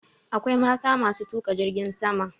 Akwai mata matuƙa jirgin sama.